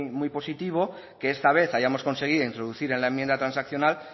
muy positivo que esta vez hayamos conseguido introducir en la enmienda transaccional